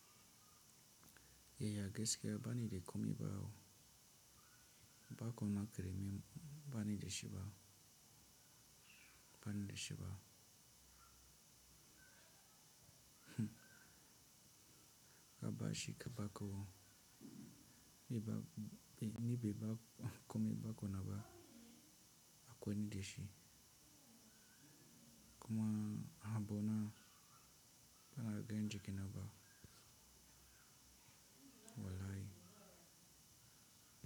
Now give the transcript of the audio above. Eya gaske bani de komi bawo, ba komna kere mi bani de shi ba, bani de shi ba. Ba bashi ke ba ko nibi ba komi ba ko na ba a kwe ni de shi. Komna habona bana gangi ke na ba walai.